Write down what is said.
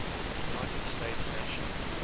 united states national